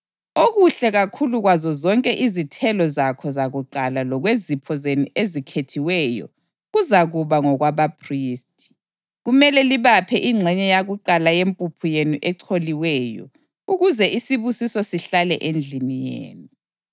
Okuhle kakhulu kwazo zonke izithelo zakho zakuqala lokwezipho zenu ezikhethiweyo kuzakuba ngokwabaphristi. Kumele libaphe ingxenye yakuqala yempuphu yenu echoliweyo ukuze isibusiso sihlale endlini yenu.